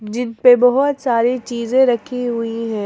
Gym पे बहुत सारी चीजें रखी हुई है।